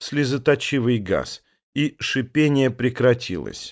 слезоточивый газ и шипение прекратилось